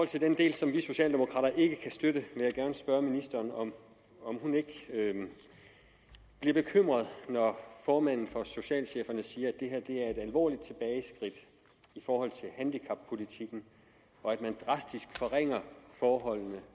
til den del som vi socialdemokrater ikke kan støtte vil jeg gerne spørge ministeren om hun ikke bliver bekymret når formanden for socialcheferne siger at det her er et alvorligt tilbageskridt i forhold til handicappolitikken og at man drastisk forringer forholdene